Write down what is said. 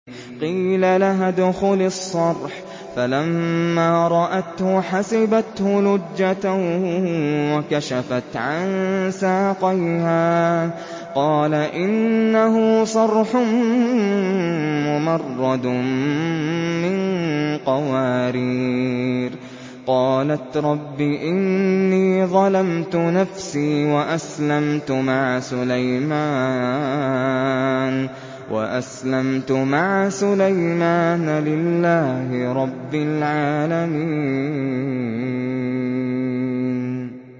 قِيلَ لَهَا ادْخُلِي الصَّرْحَ ۖ فَلَمَّا رَأَتْهُ حَسِبَتْهُ لُجَّةً وَكَشَفَتْ عَن سَاقَيْهَا ۚ قَالَ إِنَّهُ صَرْحٌ مُّمَرَّدٌ مِّن قَوَارِيرَ ۗ قَالَتْ رَبِّ إِنِّي ظَلَمْتُ نَفْسِي وَأَسْلَمْتُ مَعَ سُلَيْمَانَ لِلَّهِ رَبِّ الْعَالَمِينَ